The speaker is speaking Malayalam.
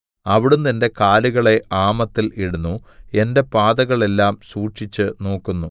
അവിടുന്ന് എന്റെ കാലുകളെ ആമത്തിൽ ഇടുന്നു എന്റെ പാതകളെല്ലാം സൂക്ഷിച്ചുനോക്കുന്നു